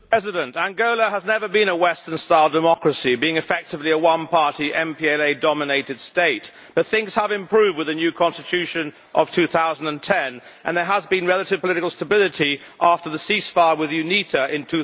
Mr President, Angola has never been a Western style democracy, being effectively a one party MPLA dominated state, but things have improved with the new Constitution of 2010 and there has been relative political stability after the ceasefire with UNITA in